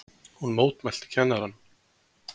Hún mótmælti kennaranum!